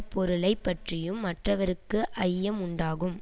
பொருளை பற்றியும் மற்றவர்க்கு ஐயம் உண்டாகும்